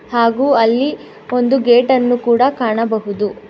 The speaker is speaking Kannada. ಹಾಗೂ ಅಲ್ಲಿ ಒಂದು ಗೇಟನ್ನು ಕೂಡ ಕಾಣಬಹುದು.